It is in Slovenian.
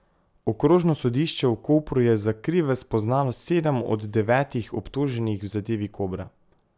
Okrožno sodišče v Kopru je za krive spoznalo sedem od devetih obtoženih v zadevi Kobra.